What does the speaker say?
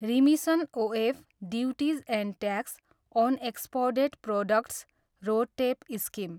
remission of duties and tax on exported products, RoDTEP, scheme